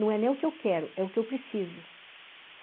Não é nem o que eu quero, é o que eu preciso.